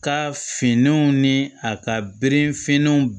Ka finnanw ni a ka bere finnanw